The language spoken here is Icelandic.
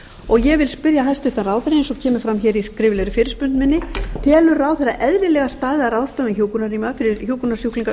og ég vil spyrja hæstvirtan ráðherra eins og fram kemur í skriflegri fyrirspurn minni telur ráðherra eðlilega staðið að ráðstöfun hjúkrunarrýma fyrir hjúkrunarsjúklinga